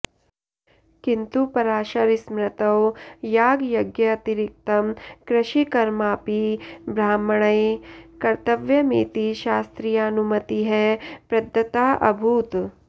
किन्तु पराशरस्मृतौ यागयज्ञातिरिक्तं कृषिकर्मापि ब्रह्मणैः कर्त्तव्यमिति शास्त्रीयानुमतिः प्रदत्ताऽभूत्